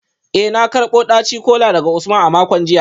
Eh na karbo daci-kola daga Usman a makon jiya